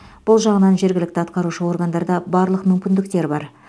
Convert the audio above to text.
бұл жағынан жергілікті атқарушы органдарда барлық мүмкіндіктер бар